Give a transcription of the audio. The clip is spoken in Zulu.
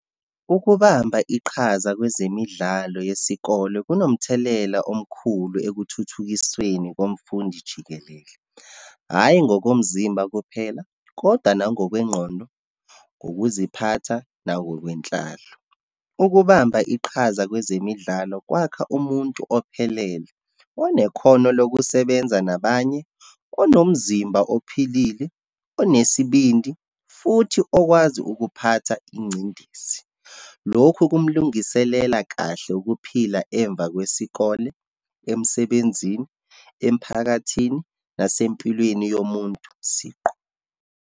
Ukubamba iqhaza kwezemidlalo yesikole kunomthelela omkhulu ekuthuthukisweni komfundi jikelele. Hhayi, ngokomzimba kuphela, kodwa nangokwengqondo, ngokuziphatha, nangokwenhlalo. Ukubamba iqhaza kwezemidlalo kwakha umuntu ophelele, onekhono lokusebenza nabanye, onomzimba ophilile, onesibindi, futhi okwazi ukuphatha ingcindezi. Lokhu kumlungiselela kahle ukuphila emva kwesikole, emsebenzini, emphakathini, nasempilweni yomuntu siqu.